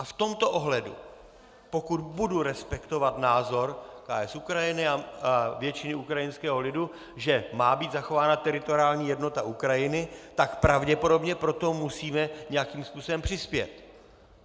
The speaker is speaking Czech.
A v tomto ohledu, pokud budu respektovat názor KS Ukrajiny a většiny ukrajinského lidu, že má být zachována teritoriální jednota Ukrajiny, tak pravděpodobně pro to musíme nějakým způsobem přispět.